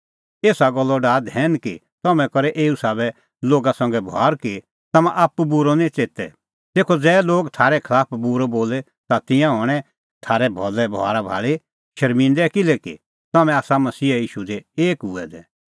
एसा गल्लो डाहै धैन कि तम्हैं करै एऊ साबै लोगा संघै बभार कि तम्हां आप्पू बूरअ निं च़ेते तेखअ ज़ै लोग थारै खलाफ बूरअ बोले ता तिंयां हणैं थारै भलै बभारा भाल़ी शर्मिंदै किल्हैकि तम्हैं आसा मसीहा ईशू दी एक हुऐ दै